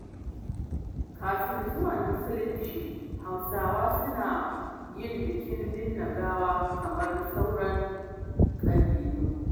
Kafin zuwan Musulunci, Hausawa suna yin bikin binne gawa kamar sauran ƙabilu.